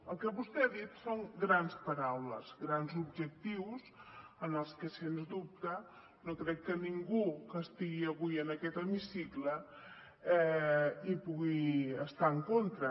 el que vostè ha dit són grans paraules grans objectius dels que sens dubte no crec que ningú que estigui avui en aquest hemicicle hi pugui estar en contra